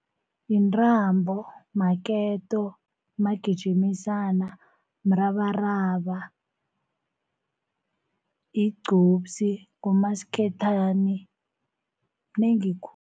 Intambo, maketo, magijimisana, mrabaraba, igcubsi, ngumasikhethane zinengi khulu